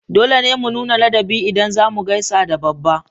Dole ne mu nuna ladabi ida zamu gaisa da babba